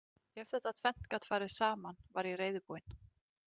Ef þetta tvennt gat farið saman var ég reiðubúin.